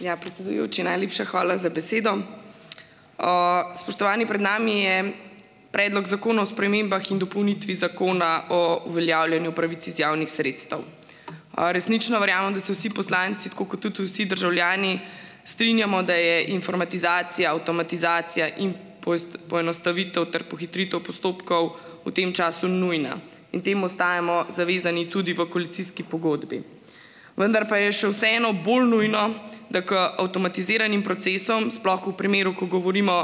Ja, predsedujoči, najlepša hvala za besedo. Spoštovani! Pred nami je Predlog zakona o spremembah in dopolnitvi Zakona o uveljavljanju pravic iz javnih sredstev. Resnično verjamem, da se vsi poslanci, tako kot tudi vsi državljani, strinjamo, da je informatizacija, avtomatizacija in poenostavitev ter pohitritev postopkov v tem času nujna in temu ostajamo zavezani tudi v koalicijski pogodbi. Vendar pa je še vseeno bolj nujno, da k avtomatiziranim procesom, sploh v primeru, ko govorimo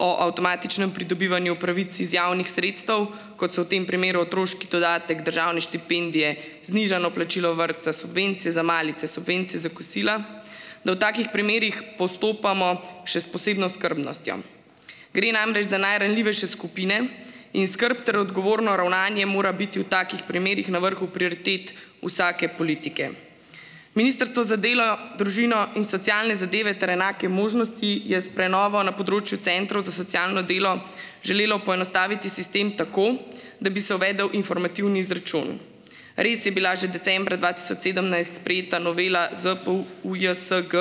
o avtomatičnem pridobivanju pravic iz javnih sredstev, kot so v tem primeru otroški dodatek, državne štipendije, znižano plačilo vrtca, subvencije za malice, subvencije za kosila, da v takih primerih postopamo še s posebno skrbnostjo. Gre namreč za najranljivejše skupine in skrb ter odgovorno ravnanje mora biti v takih primerih na vrhu prioritet vsake politike. Ministrstvo za delo, družino in socialne zadeve ter enake možnosti je s prenovo na področju centrov za socialno delo želelo poenostaviti sistem tako, da bi se uvedel informativni izračun. Res je bila že decembra dva tisoč sedemnajst sprejeta novela ZPU UJSG,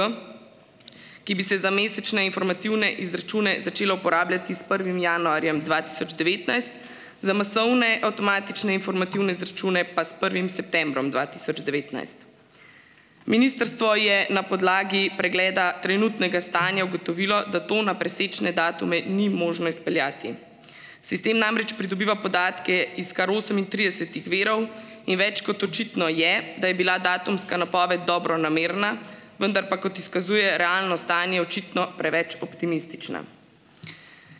ki bi se za mesečne informativne izračune začela uporabljati s prvim januarjem dva tisoč devetnajst, za masovne avtomatične informativne izračune pa s prvim septembrom dva tisoč devetnajst. Ministrstvo je na podlagi pregleda trenutnega stanja ugotovilo, da tega na presečne datume ni možno izpeljati. Sistem namreč pridobiva podatke iz kar osemintridesetih virov in več kot očitno je, da je bila datumska napoved dobronamerna, vendar pa, kot izkazuje realno stanje, očitno preveč optimistična.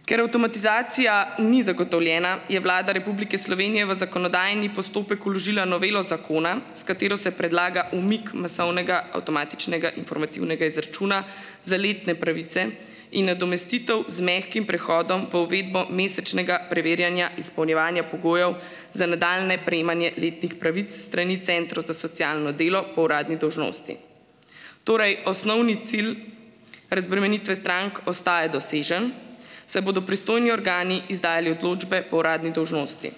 Ker avtomatizacija ni zagotovljena, je Vlada Republike Slovenije v zakonodajni postopek vložila novelo zakona, s katero se predlaga umik masovnega avtomatičnega informativnega izračuna za letne pravice in nadomestitev z mehkim prehodom v uvedbo mesečnega preverjanja izpolnjevanja pogojev za nadaljnje prejemanje letnih pravic s strani centra za socialno delo po uradni dolžnosti. Torej osnovni cilj razbremenitve strank ostaja dosežen, saj bodo pristojni organi izdajali odločbe po uradni dolžnosti.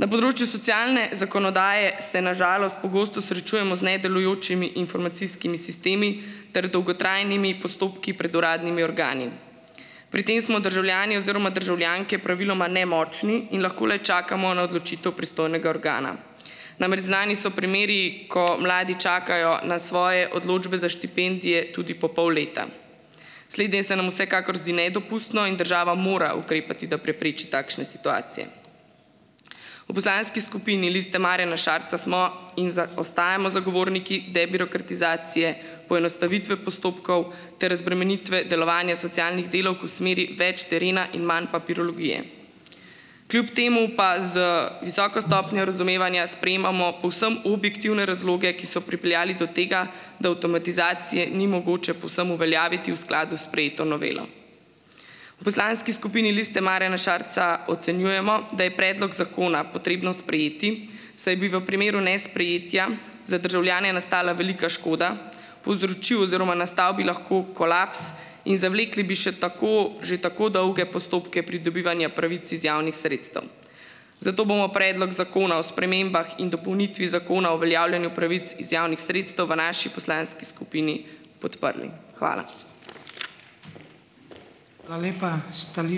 Na področju socialne zakonodaje se na žalost pogosto srečujemo z nedelujočimi informacijskimi sistemi ter dolgotrajnimi postopki pred uradnimi organi. Pri tem smo državljani oziroma državljanke praviloma nemočni in lahko le čakamo na odločitev pristojnega organa. Namreč znani so primeri, ko mladi čakajo na svoje odločbe za štipendije tudi po pol leta. Slednje se nam vsekakor zdi nedopustno in država mora ukrepati, da prepreči takšne situacije. V poslanski skupini Liste Marjana Šarca smo in ostajamo zagovorniki, da je birokratizacije, poenostavitve postopkov ter razbremenitve delovanja socialnih delavk v smeri več terena in manj papirologije. Kljub temu pa z visoko stopnjo razumevanja sprejemamo povsem objektivne razloge, ki so pripeljali do tega, da avtomatizacije ni mogoče povsem uveljaviti v skladu s sprejeto novelo. V poslanski skupini Liste Marjana Šarca ocenjujemo, da je predlog zakona potrebno sprejeti, saj bi v primeru nesprejetja za državljane nastala velika škoda. Povzročil oziroma nastal bi lahko kolaps in zavlekli bi še tako že tako dolge postopke pridobivanja pravic iz javnih sredstev. Zato bomo predlog Zakona o spremembah in dopolnitvi Zakona o uveljavljanju pravic iz javnih sredstev v naši poslanski skupini podprli. Hvala.